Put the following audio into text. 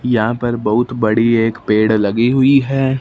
यहां पर बहुत बड़ी एक पेड़ लगी हुई है।